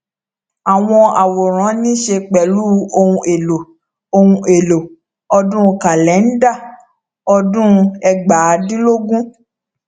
àwọn àwòran níṣe pẹlú ohun èlò ohun èlò ọdún kàlẹnda ọdún ẹgbàádínlógún